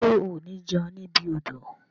Ṣe o ni jẹun ni ibi odò?